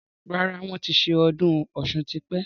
Rárá, wọn ti ṣe ọdún Ọ̀sun tí pẹ́.